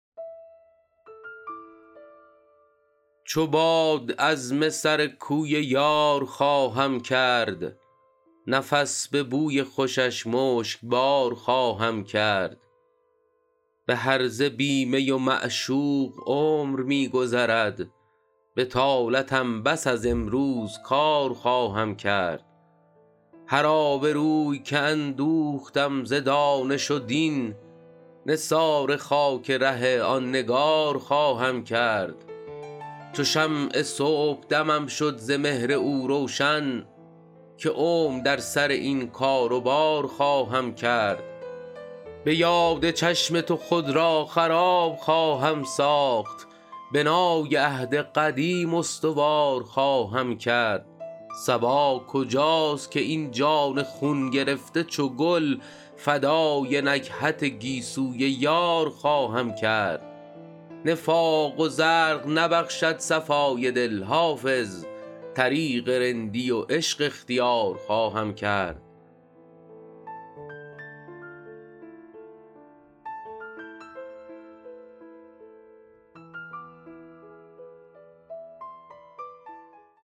چو باد عزم سر کوی یار خواهم کرد نفس به بوی خوشش مشکبار خواهم کرد به هرزه بی می و معشوق عمر می گذرد بطالتم بس از امروز کار خواهم کرد هر آبروی که اندوختم ز دانش و دین نثار خاک ره آن نگار خواهم کرد چو شمع صبحدمم شد ز مهر او روشن که عمر در سر این کار و بار خواهم کرد به یاد چشم تو خود را خراب خواهم ساخت بنای عهد قدیم استوار خواهم کرد صبا کجاست که این جان خون گرفته چو گل فدای نکهت گیسوی یار خواهم کرد نفاق و زرق نبخشد صفای دل حافظ طریق رندی و عشق اختیار خواهم کرد